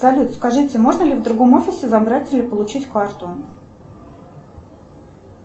салют скажите можно ли в другом офисе забрать или получить карту